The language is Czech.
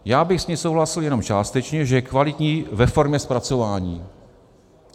Já bych s ní souhlasil jenom částečně - že je kvalitní ve formě zpracování.